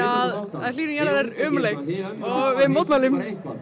að hlýnun jarðar er ömurleg og við mótmælum mótmælum